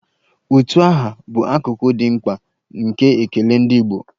Utu aha bụ akụkụ dị mkpa nke ekele ndị Igbo